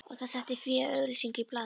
Og þá setti Fía auglýsingu í blaðið